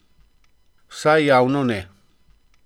Vsaj javno ne.